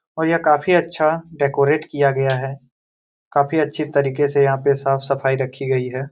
और यह काफी अच्छा डेकोरेट किया गया है काफी अच्छे तरीके से यहाँ पे साफ़ सफाई रखी गयी है|